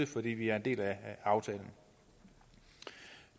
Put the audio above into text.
fordi vi er en del af aftalen